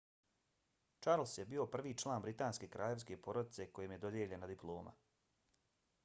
charles je bio prvi član britanske kraljevske porodice kojem je dodijeljena diploma